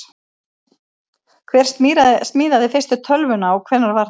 Hver smíðaði fyrstu tölvuna og hvenær var það?